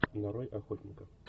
нарой охотника